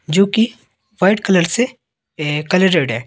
जो की white colour से कलर रेड है।